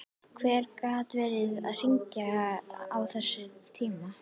Hver gat verið að hringja á þessum tíma?